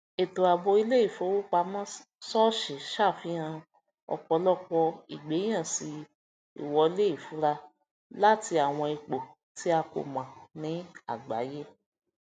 ètò àbò iléifowopamọ sọọṣì ṣàfihàn ọpọlọpọ ìgbẹyànsí ìwọlé ìfura láti àwọn ipò tí a kò mọ ní agbáyé